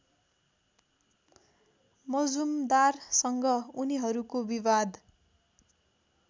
मजुमदारसँग उनीहरूको विवाद